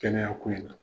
Kɛnɛya ko in na